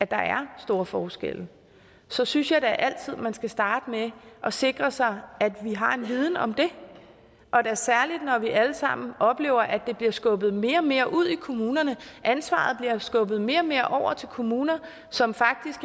der er store forskelle så synes jeg da altid man skal starte med at sikre sig at vi har en viden om det særlig når vi alle sammen oplever at det bliver skubbet mere og mere ud i kommunerne ansvaret bliver skubbet mere og mere over til kommuner som faktisk